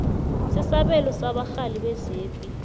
sesabelo sabarhali bezepi